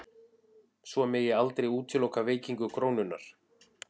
Svo megi aldrei útiloka veikingu krónunnar